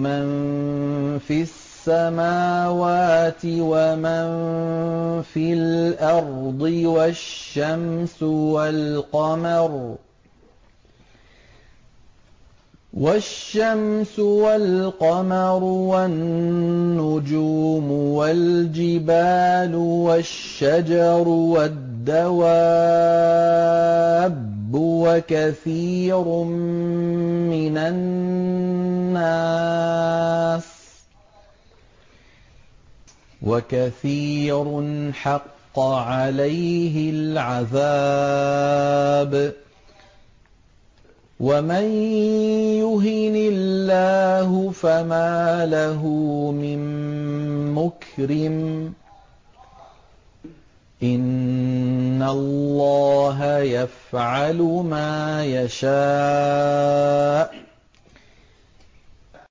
مَن فِي السَّمَاوَاتِ وَمَن فِي الْأَرْضِ وَالشَّمْسُ وَالْقَمَرُ وَالنُّجُومُ وَالْجِبَالُ وَالشَّجَرُ وَالدَّوَابُّ وَكَثِيرٌ مِّنَ النَّاسِ ۖ وَكَثِيرٌ حَقَّ عَلَيْهِ الْعَذَابُ ۗ وَمَن يُهِنِ اللَّهُ فَمَا لَهُ مِن مُّكْرِمٍ ۚ إِنَّ اللَّهَ يَفْعَلُ مَا يَشَاءُ ۩